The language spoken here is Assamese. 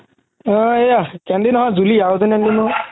আ এইয়া কেনদি নহয় জুলি আৰু এজনি